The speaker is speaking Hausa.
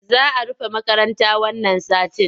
Za a rufe makarata wannan satin.